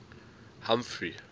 humphrey